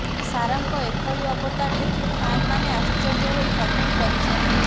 ସାରାଙ୍କ ଏଭଳି ଅବତାର ଦେଖି ଫ୍ୟାନ୍ମାନେ ଆଶ୍ଚର୍ଯ୍ୟ ହୋଇ କମେଣ୍ଟ କରିଛନ୍ତି